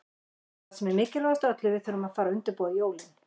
Og það sem er mikilvægast af öllu, við þurfum að fara að undirbúa jólin.